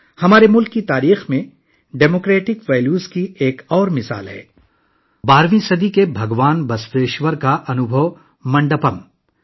ہمارے ملک کی تاریخ میں جمہوری اقدار کی ایک اور مثال 12ویں صدی کے بھگوان بسویشور کا انوبھو منڈپم ہے